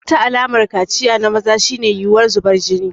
Wata alamar kaciya na maza shine yiwuwar zubar jini.